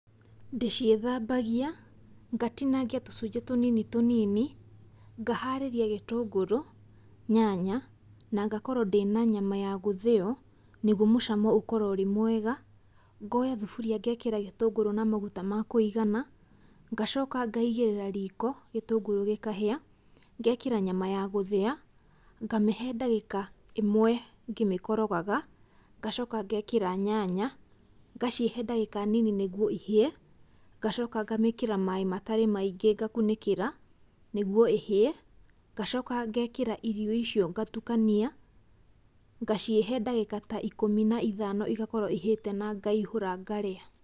Ndĩciĩthambagia, ngatinangia tũcũnjĩ tũnini tũnini, ngaharĩria gĩtũngũrũ, nyanya, na ngakorwo ndĩna nyama ya gũthĩo, nĩguo mũcamo ũkorwo ũrĩ mwega. Ngoya thuburia, ngekĩra gĩtũngũrũ na maguta makũigana, ngacoka ngaigĩrĩra riko, gĩtũngũrũ gĩkahĩa, ngekĩra nyama ya gũthĩa, ngamĩhe ndagĩka ĩmwe ngĩmĩkorogaga, ngacoka ngekĩra nyanya, ngaciĩhe ndagĩka nini nĩguo ihĩe, ngacoka ngemĩkĩra maaĩ matarĩ maingĩ ngakunĩkĩra, nĩguo ĩhĩe, ngacoka ngekĩra irio icio ngatukania, ngaciĩhe ndagĩka ta ikũmi na ithano igakorwo ihĩte, na ngaihũra ngarĩa.